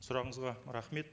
сұрағыңызға рахмет